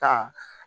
Ta